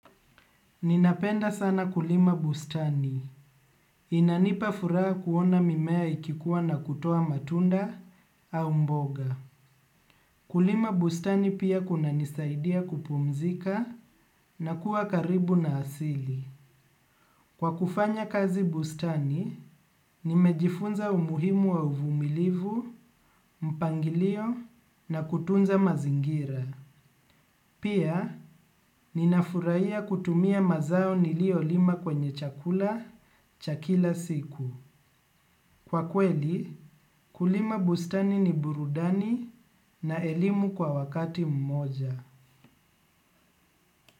Ninapenda sana kulima bustani. Inanipa furaha kuona mimea ikikua na kutoa matunda au mboga. Kulima bustani pia kuna nisaidia kupumzika na kuwa karibu na asili. Kwa kufanya kazi bustani, nimejifunza umuhimu wa uvumilivu, mpangilio na kutunza mazingira. Pia, ninafuraia kutumia mazao nilio lima kwenye chakula cha kila siku. Kwa kweli, kulima bustani ni burudani na elimu kwa wakati mmoja.